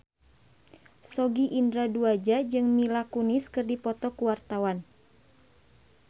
Sogi Indra Duaja jeung Mila Kunis keur dipoto ku wartawan